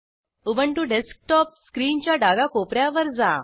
Ubuntu desktop स्क्रीनच्या डाव्या कोपऱ्या वर जा